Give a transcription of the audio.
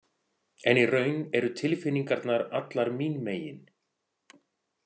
En í raun eru tilfinningarnar allar mín megin.